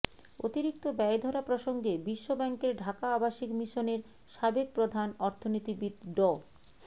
অতিরিক্ত ব্যয় ধরা প্রসঙ্গে বিশ্বব্যাংকের ঢাকা আবাসিক মিশনের সাবেক প্রধান অর্থনীতিবিদ ড